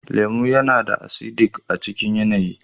lemu yana da ”acidic" a cikin yanayi.